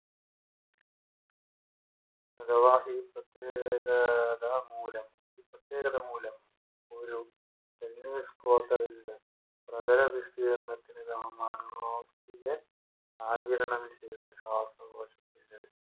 അഥവാ ഈ പ്രത്യേകത മൂലം പ്രത്യേകത മൂലം ഒരു പ്രധനവിസ്തീർണത്തിന് ശ്വാസകോശത്തിന്റെ